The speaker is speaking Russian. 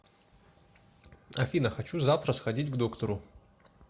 афина хочу завтра сходить к доктору